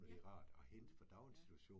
Ja, mh, ja